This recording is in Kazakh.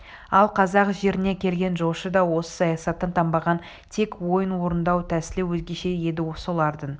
ал қазақ жеріне келген жошы да осы саясаттан танбаған тек ойын орындау тәсілі өзгеше еді солардың